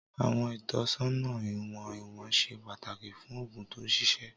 Àwọn ìtọ́sọ́nà ìwọ̀n ìwọ̀n ṣe pàtàkì fún òògùn tó ṣiṣẹ́.